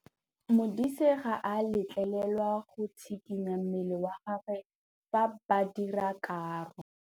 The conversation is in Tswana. Modise ga a letlelelwa go tshikinya mmele wa gagwe fa ba dira karô.